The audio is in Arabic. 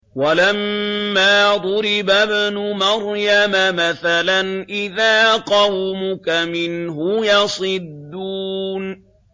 ۞ وَلَمَّا ضُرِبَ ابْنُ مَرْيَمَ مَثَلًا إِذَا قَوْمُكَ مِنْهُ يَصِدُّونَ